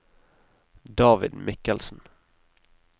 David Michelsen